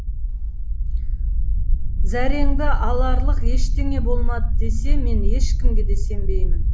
зәреңді аларлық ештеңе болмады десе мен ешкімге де сенбеймін